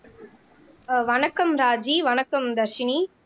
ஆஹ் வணக்கம் ராஜி வணக்கம் தர்ஷினி